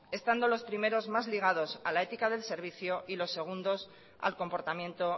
estando los primeros más ligados a la ética del servicio y los segundos al comportamiento